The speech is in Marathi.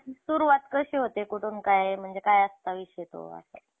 हम्म त्यामुळे ते आमच्या लक्षातच नाही की ते काये कसं झालंय, आणी काय झालंय ते.